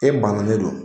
E banna ne don